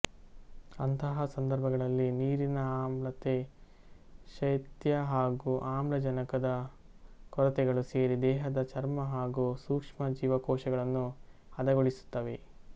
ಅಂತಹಾ ಸಂದರ್ಭಗಳಲ್ಲಿ ನೀರಿನ ಆಮ್ಲತೆ ಶೈತ್ಯ ಹಾಗೂ ಆಮ್ಲಜನಕದ ಕೊರತೆಗಳು ಸೇರಿ ದೇಹದ ಚರ್ಮ ಹಾಗೂ ಸೂಕ್ಷ್ಮ ಜೀವಕೋಶಗಳನ್ನು ಹದಗೊಳಿಸಿವೆ